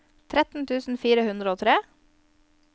tretten tusen fire hundre og tre